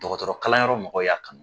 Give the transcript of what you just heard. Dɔgɔtɔrɔ kalanyɔrɔ mɔgɔw y'a kanu